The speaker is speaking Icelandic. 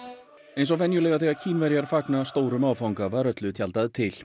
eins og venjulega þegar Kínverjar fagna stórum áfanga var öllu tjaldað til